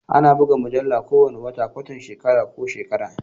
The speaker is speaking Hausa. Ana buga mujallu kowane wata, kwatan shekara ko shekara.